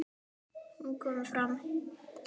Hún kom fram.